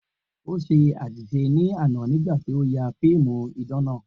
O ṣe aṣiṣe ni ana nigba ti o ya fiimu idan naa